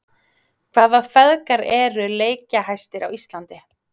Hvaða feðgar eru leikjahæstir á Íslandi?